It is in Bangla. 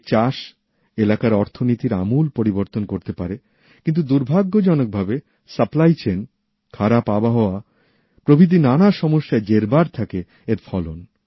এর চাষ এলাকার অর্থনিতির আমূল পরিবর্তন করতে পারে কিন্তু দুর্ভাগ্যজনক ভাবে সরবরাহ শৃঙ্খল খারাপ আবহাওয়া প্রভৃতি নানা সমস্যায় জেরবার হতে থাকে এর ফলন